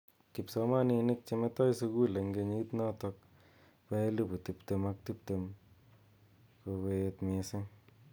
Kipsomaninik che metoi sukul eng kenyit notok ba elipu tiptem ak tiptem kokeet missing.